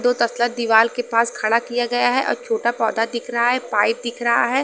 दो तसला दीवाल के पास खड़ा किया गया है और छोटा पौधा दिख रहा है पाइप दिख रहा है।